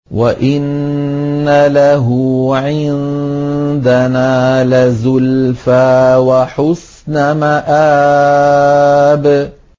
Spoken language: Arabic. وَإِنَّ لَهُ عِندَنَا لَزُلْفَىٰ وَحُسْنَ مَآبٍ